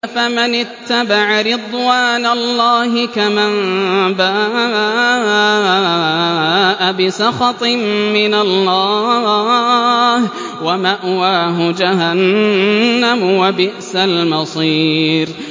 أَفَمَنِ اتَّبَعَ رِضْوَانَ اللَّهِ كَمَن بَاءَ بِسَخَطٍ مِّنَ اللَّهِ وَمَأْوَاهُ جَهَنَّمُ ۚ وَبِئْسَ الْمَصِيرُ